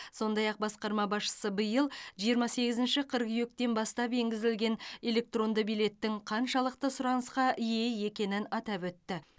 сондай ақ басқарма басшысы биыл жиырма сегізінші қыркүйектен бастап енгізілген электронды билеттің қаншалықты сұранысқа ие екенін атап өтті